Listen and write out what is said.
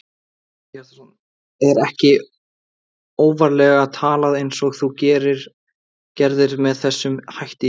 Hjörtur Hjartarson: Er ekki óvarlega talað eins og þú gerðir með þessum hætti í gær?